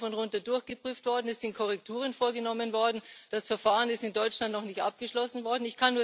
Es ist rauf und runter durchgeprüft worden, es sind Korrekturen vorgenommen worden, das Verfahren ist in Deutschland noch nicht abgeschlossen worden.